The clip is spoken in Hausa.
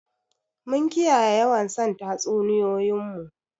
Mun kiyaye yawan son tatsuniyoyin mu?